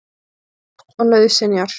Landsins gagn og nauðsynjar.